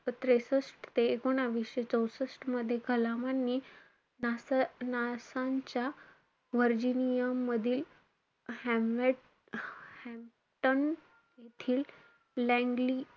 त्रेसष्ट ते एकोणवीसशे चौषष्ट मध्ये कलामांनी NASA च्या व्हरजिनीया मधील हमवे~ हॅन्गटन येथील लँगली,